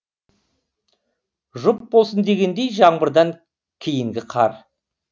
жұп болсын дегендей жаңбырдан кейінгі қар